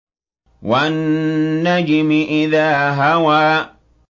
وَالنَّجْمِ إِذَا هَوَىٰ